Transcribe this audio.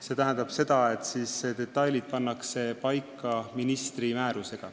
See tähendab seda, et detailid pannakse paika ministri määrusega.